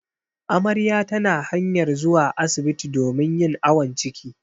Amarya tana hanyar zuwa asibti domin yin awon ciki.